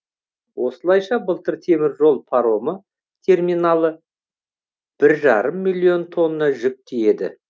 осылайша былтыр теміржол паромы терминалы бір жарым миллион тонна жүк тиеді